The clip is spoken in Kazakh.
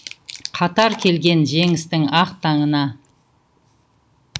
қатар келген жеңістің ақ таңына